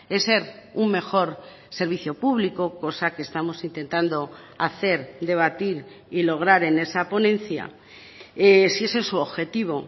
es ser un mejor servicio público cosa que estamos intentando hacer debatir y lograr en esa ponencia si ese es su objetivo